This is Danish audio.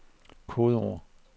kodeord